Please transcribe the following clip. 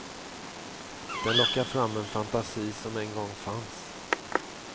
Den lockar fram en fantasi som en gång fanns.